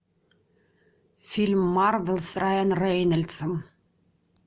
фильм марвел с райан рейнольдсом